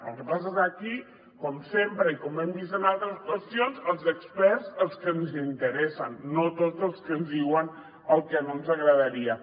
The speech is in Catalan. el que passa és que aquí com sempre i com hem vist en altres qüestions els experts els que ens interessen no tots els que ens diuen el que no ens agradaria